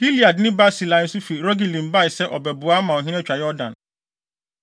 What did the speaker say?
Gileadni Barsilai nso fi Rogelim baa sɛ ɔrebɛboa ama ɔhene atwa Yordan.